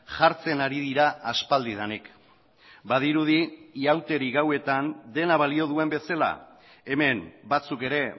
jartzen ari dira aspaldidanik badirudi ihauteri gauetan dena balio duen bezala hemen batzuk ere